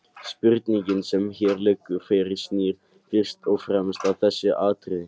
Spurningin sem hér liggur fyrir snýr fyrst og fremst að þessu atriði.